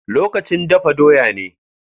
Lokacin dafa doya ne.